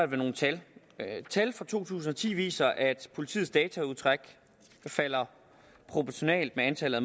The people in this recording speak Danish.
med nogle tal tal for to tusind og ti viser at politiets dataudtræk falder proportionalt med antallet